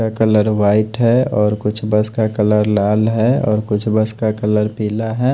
Colour white है और कुछ बस का कलर लाल है और कुछ बस का कलर पीला है।